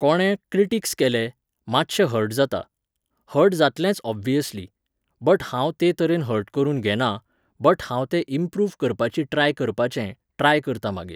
कोणें क्रिटिक्स केलें, मातशें हर्ट जाता, हर्ट जातलेंच ओब्व्हियसली. बट हांव ते तरेन हर्ट करून घेना, बट हांव तें इम्प्रूव्ह करपाची ट्राय करपाचें, ट्राय करतां मागीर